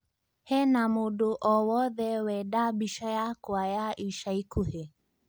hena mũndũ o wothe Wenda mbĩca yakwa ya ĩca ĩkũhĩ